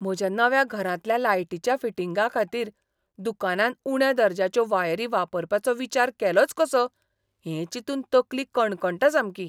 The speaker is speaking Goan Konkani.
म्हज्या नव्या घरांतल्या लायटीच्या फिटिंगांखातीर दुकानान उण्या दर्ज्याच्यो वायरी वापरपाचो विचार केलोच कसो हें चिंतून तकली कणकणटा सामकी.